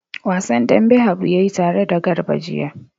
Wasan dambe Habu ya yi tare da Garba jiya.